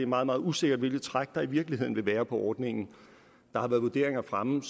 meget meget usikkert hvilket træk der i virkeligheden vil være på ordningen der har været vurderinger fremme